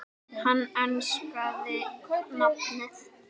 Hann enskaði nafnið